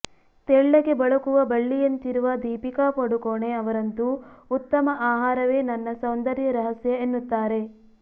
ತೆಳ್ಳಗೆ ಬಳುಕವ ಬಳ್ಳಿಯಂತಿರುವ ದೀಪಿಕಾ ಪಡುಕೋಣೆ ಅವರಂತೂ ಉತ್ತಮ ಆಹಾರವೇ ನನ್ನ ಸೌಂದರ್ಯ ರಹಸ್ಯ ಎನ್ನುತ್ತಾರೆ